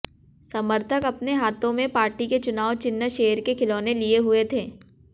समर्थक अपने हाथों में पार्टी के चुनाव चिन्ह शेर के खिलौने लिए हुए थे